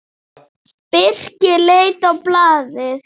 Birkir leit á blaðið.